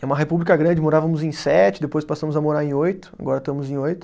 É uma república grande, morávamos em sete, depois passamos a morar em oito, agora estamos em oito.